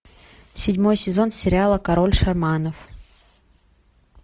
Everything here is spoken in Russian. седьмой сезон сериала король шаманов